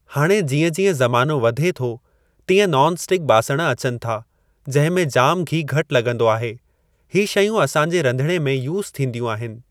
हाणे जीअं जीअं ज़मानो वधे थो तीअं नॉन स्टिक बासण अचनि था जंहिं में जाम घी घटि लॻंदो आहे ही शयूं असां जे रंधिड़े में यूस थीन्दीयूं आहिनि।